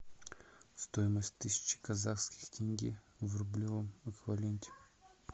стоимость тысячи казахских тенге в рублевом эквиваленте